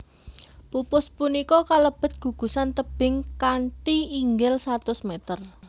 Pupus punika kalebet gugusan tebing kanthi inggil satus meter